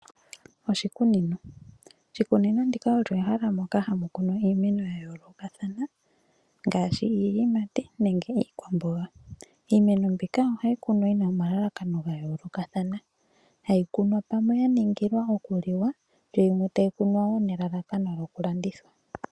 Oshikunino olyo ehala moka hamu kunwa iimeno ya yoolokothana ngaashi iiyimati nenge iikwamboga. Iimeno mbika ohayi kunwa yi na omalalakano ga yoolokathana hayi kunwa ya ningila okuliwa nenge okulanditha.